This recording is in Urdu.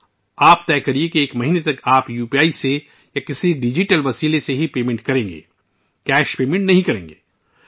خود فیصلہ کریں کہ ایک ماہ کے لیے آپ صرف یو پی آئی یا کسی بھی ڈیجیٹل میڈیم کے ذریعے ادائیگی کریں گے نہ کہ نقد